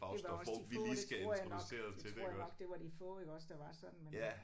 Det var også de få det tror jeg nok det tror jeg nok det var de få iggås der var sådan men